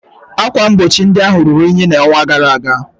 Ákwà mgbochi ndị ahụ ruru unyi n'ọnwa gara aga